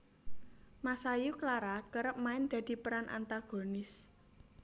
Masayu Clara kerep main dadi peran antagonis